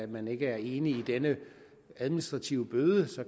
man ikke er enig i denne administrative bøde